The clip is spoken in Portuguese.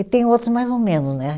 E tem outros mais ou menos, né?